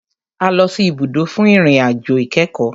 A lọ sì ibùdó fún ìrìn àjò ìkẹ́kọ̀.